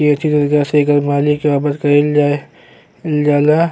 कइल जाये जाला --